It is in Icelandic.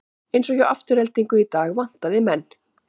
Eins og hjá Aftureldingu í dag vantaði menn.